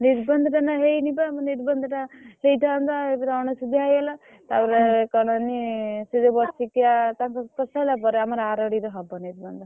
ନିର୍ବନ୍ଧ ଟା ନା ହେଇନି ବା ନିର୍ବନ୍ଧ ଟା ହେଇଥାନ୍ତା ଏକରେ ଅନସୁଧିଆ ହେଇଗଲା ତା ପରେ କଣ ନି ସେଇ ଯୋଉ ବର୍ଷିକିଆ ଟା ସେସ ହେଲା ପରେ ଆମର ଆରୋଡି ରେ ହବ ନିର୍ବନ୍ଧ।